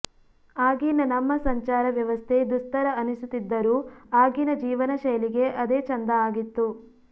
ಆಗಿನ ನಮ್ಮ ಸಂಚಾರ ವ್ಯವಸ್ಥೆ ದುಸ್ತರ ಅನಿಸುತ್ತಿದ್ದರೂ ಆಗಿನ ಜೀವನಶೈಲಿಗೆ ಅದೇ ಚೆಂದ ಆಗಿತ್ತು